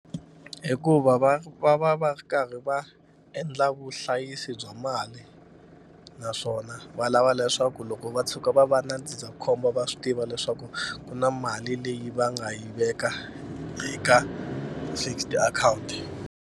Hikuva va va va va ri karhi va endla vuhlayisi bya mali naswona va lava leswaku loko va tshuka va va na ndzindzakhombo va swi tiva leswaku ku na mali leyi va nga yi veka eka fixed account.